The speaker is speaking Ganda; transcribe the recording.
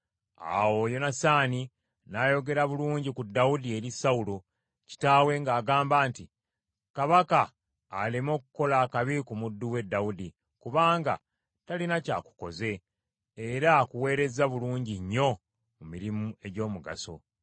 Awo Yonasaani n’ayogera bulungi ku Dawudi eri Sawulo kitaawe ng’agamba nti, “Kabaka aleme okukola akabi ku muddu we Dawudi, kubanga talina kyakukoze, era akuweereza bulungi nnyo mu mirimu egy’omugaso.